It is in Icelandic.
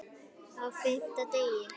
Á FIMMTA DEGI